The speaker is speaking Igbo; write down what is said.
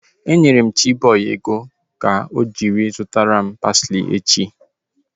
E nyere m Chiboy ego ọ ga-eji zụtara m parsley echi